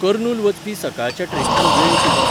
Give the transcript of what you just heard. कर्नुल वचपी सकाळच्या ट्रेनीचो वेळ कितें?